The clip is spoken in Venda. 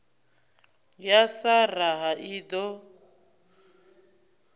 ya sa raha i ḓo